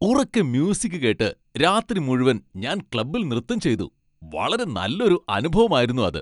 ഉറക്കെ മ്യൂസിക് കേട്ട് രാത്രി മുഴുവൻ ഞാൻ ക്ലബ്ബിൽ നൃത്തം ചെയ്തു. വളരെ നല്ലൊരു അനുഭവമായിരുന്നു അത്.